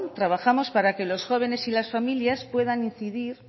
trabajamos para que los jóvenes y las familias puedan incidir